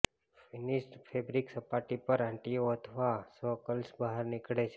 finished fabric સપાટી પર આંટીઓ અથવા સ કર્લ્સ બહાર નીકળે છે